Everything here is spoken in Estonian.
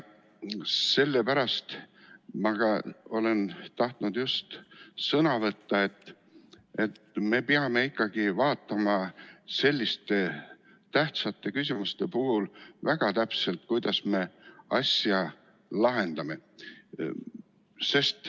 Sellepärast ma just tahtsin ka sõna võtta, et me peame vaatama selliste tähtsate küsimuste puhul väga täpselt, kuidas me asja lahendame.